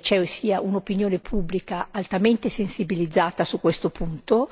ci sia un'opinione pubblica altamente sensibilizzata su questo punto.